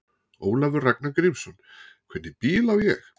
Ólafur Ragnar Grímsson: Hvernig bíl á ég?